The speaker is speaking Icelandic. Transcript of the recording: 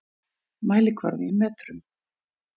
Mælikvarði í metrum.